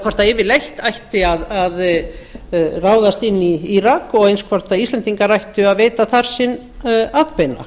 hvort yfirleitt ætti að ráðast inn í írak og eins hvort íslendingar ættu að veita þar sinn atbeina